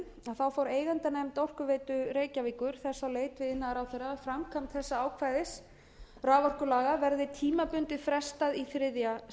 síðastliðin fór eigendanefnd orkuveitu reykjavíkur þess á leit við iðnaðarráðherra að framkvæmd þessa ákvæðis raforkulaga verði tímabundið frestað í þriðja